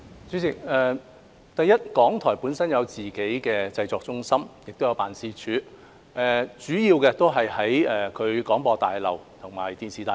主席，首先，港台本身有自己的製作中心和辦事處，主要位於廣播大廈和電視大廈。